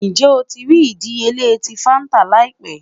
Njẹ o ti rii idiyele ti fanta laipẹ?